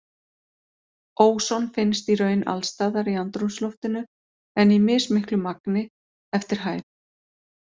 Óson finnst í raun alls staðar í andrúmsloftinu en í mismiklu magni eftir hæð.